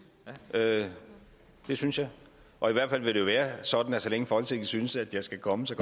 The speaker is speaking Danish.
ja det synes jeg og i hvert fald vil det jo være sådan at så længe folketinget synes at jeg skal komme så